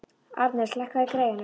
Arnes, lækkaðu í græjunum.